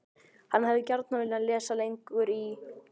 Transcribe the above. HANN HEFÐI GJARNAN VILJAÐ LESA LENGUR Í